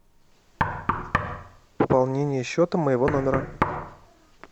пополнение счета моего номера